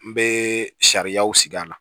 N bɛ sariyaw sigi a la